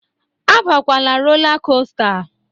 Abakwala rola kosta!